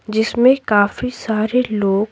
जिसमें काफी सारे लोग --